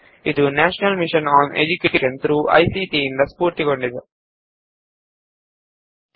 ಈ ಪ್ರಕಲ್ಪವನ್ನು ರಾಷ್ಟ್ರಿಯ ಸಾಕ್ಷರತಾ ಮಿಷನ್ ಐಸಿಟಿ ಎಂಎಚಆರ್ಡಿ ಭಾರತ ಸರ್ಕಾರ ಎಂಬ ಸಂಸ್ಥೆಯು ಸಮರ್ಥಿಸಿದೆ